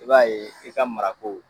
E b'a ye i ka mara ko